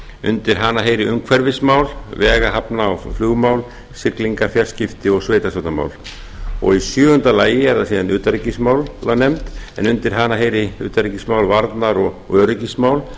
undir hana heyri umhverfismál vega hafna og flugmál siglingar fjarskipti og sveitarstjórnarmál sjöunda utanríkismálanefnd undir hana heyri utanríkismál varnar og öryggismál